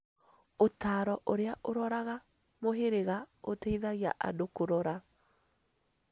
Ũtaaro ũrĩa ũroraga mũhĩrĩga ũteithagia andũ kũrora